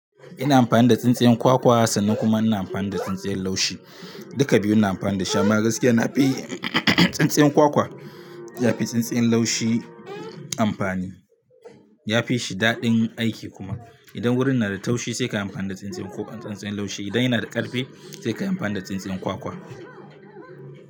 Ina amfani da tsintsiyan kwakwa sannan kuma ina amfani da tsintsiyan laushi. Duka biyun ina amfani da su amma gaskiya na fi tsintsiyan kwakwa ya fi tsintsiyan laushi amfani. Ya fi shi daɗin aiki kuma. Idan wurin na da taushi sai ka yi amfani da tsintsiyan, tsintsiyan laushi idan yana da ƙarfi sai ka yi amfani da tsintsiyan kwakwa.